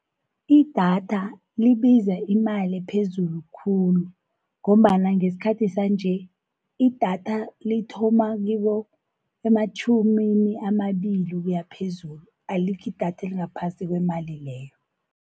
Idatha libiza imali ephezulu khulu, ngombana ngesikhathi sanje, idatha lithoma ematjhumini amabili ukuya phezulu. Alikho idatha elingaphasi kwemali leyo.